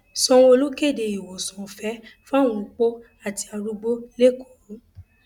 sanwóolu kéde ìwòsàn ọfẹ fáwọn opó àti arúgbó lẹkọọ